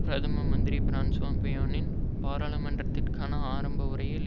பிரதம மந்திரி பிரான்சுவா பிய்யோனின் பாராளுமன்றத்திற்கான ஆரம்ப உரையில்